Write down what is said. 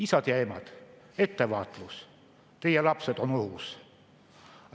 Isad ja emad, ettevaatust, teie lapsed on ohus!